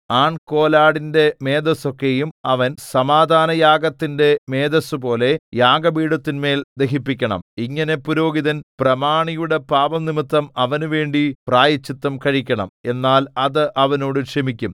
ആൺകോലാടിന്റെ മേദസ്സൊക്കെയും അവൻ സമാധാനയാഗത്തിന്റെ മേദസ്സുപോലെ യാഗപീഠത്തിന്മേൽ ദഹിപ്പിക്കണം ഇങ്ങനെ പുരോഹിതൻ പ്രമാണിയുടെ പാപംനിമിത്തം അവനുവേണ്ടി പ്രായശ്ചിത്തം കഴിക്കണം എന്നാൽ അത് അവനോട് ക്ഷമിക്കും